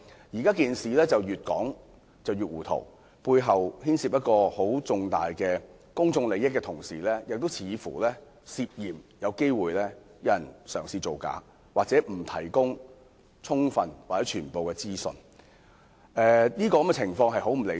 現在事情越說越糊塗，背後牽涉重大公眾利益，同時似乎有人試圖造假，又或沒有提供充分或全部的資訊，這種情況極不理想。